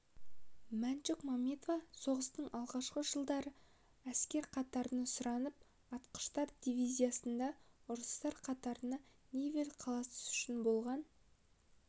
мәншүк мәметова соғыстың алғашқы жылдары әскер қатарына сұранып атқыштар дивизиясында ұрыстарға қатысты невель қаласы үшін болған